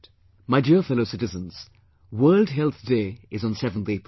My dear fellow citizens, the World Health Day is on 7th April